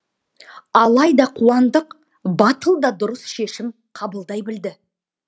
алайда қуандық батыл да дұрыс шешім қабылдай білді